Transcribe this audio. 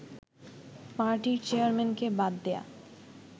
পার্টির চেয়ারম্যানকে বাদ দেয়া